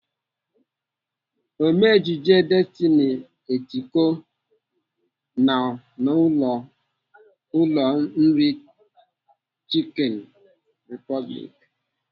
Ome ejije Destiny Etiko nọ n'ụlọ nri Chicken Republic.